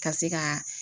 Ka se ka